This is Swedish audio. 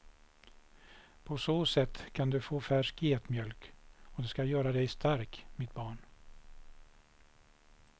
På så sätt kan du få färsk getmjölk och det ska göra dig stark, mitt barn.